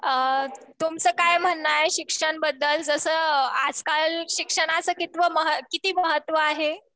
तुमचं काय म्हणणं आहे शिक्षणाबद्दल? जसं आज काल शिक्षणाच किती महत्व आहे?